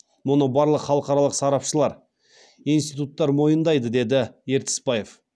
мұны барлық халықаралық сарапшылар институттар мойындайды деді ертісбаев